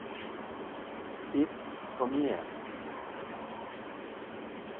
It komie